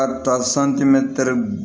Ka taa